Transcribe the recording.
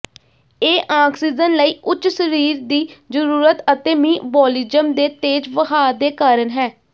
ਇਹ ਆਕਸੀਜਨ ਲਈ ਉੱਚ ਸਰੀਰ ਦੀ ਜ਼ਰੂਰਤ ਅਤੇ ਮੀਅਬੋਲਿਜ਼ਮ ਦੇ ਤੇਜ਼ ਵਹਾਅ ਦੇ ਕਾਰਨ ਹੈ